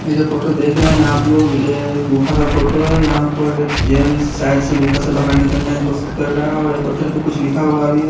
ये जो फोटो देख रहे हैं आप लोग ये एक गुफा का फोटो हैं यहाँ पर एक गेंट्स शायद से गुफा से बाहर निकले की कोशिश कर रहा हैं और पत्थर पे कुछ लिखा भी हुआ हैं।